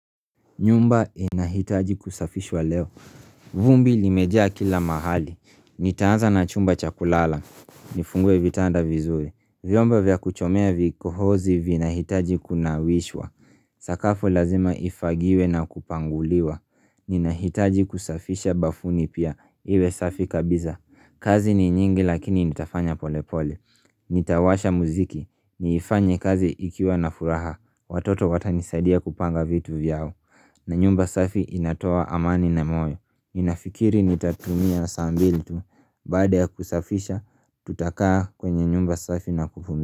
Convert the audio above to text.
Nyumba inahitaji kusafishwa leo. Vumbi limejaa kila mahali. Nitaanza na chumba cha kulala. Nifungue vitanda vizuri. Vyomba vya kuchomea vikohozi vina hitaji kunawishwa. Sakafu lazima ifagiwe na kupanguliwa Ninahitaji kusafisha bafuni pia iwe safi kabisa kazi ni nyingi lakini nitafanya pole pole Nitawasha muziki ni ifanye kazi ikiwa na furaha Watoto watanisadia kupanga vitu vyao na nyumba safi inatoa amani na moyo Ninafikiri nitatumia saa mbili tu baada kusafisha tutakaa kwenye nyumba safi na kuvumi.